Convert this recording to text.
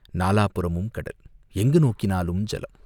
நாலாபுறமும் கடல், எங்கு நோக்கினாலும் ஜலம்.